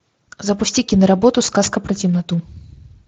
запусти киноработу сказка про темноту